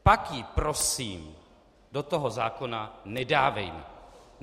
Pak ji prosím do toho zákona nedávejme.